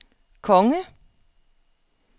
konge